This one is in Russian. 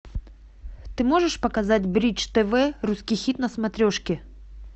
ты можешь показать бридж тв русский хит на смотрешке